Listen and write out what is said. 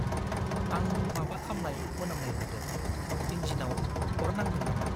आं माबा खामनाय मोनामनाय मोन्दों। इन्जिनआव अर नांदों नामा?